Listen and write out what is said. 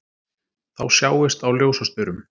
Þá sjáist á ljósastaurum